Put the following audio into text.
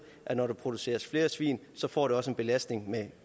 at når der produceres flere svin får det også en belastning med